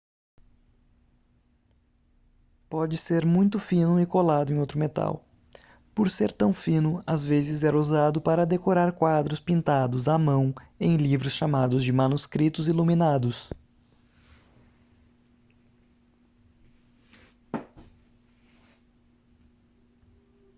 pode ser muito fino e colado em outro metal por ser tão fino às vezes era usado para decorar quadros pintados à mão em livros chamados de manuscritos iluminados